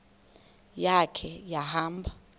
ya khe wahamba